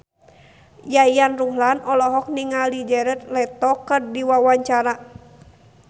Yayan Ruhlan olohok ningali Jared Leto keur diwawancara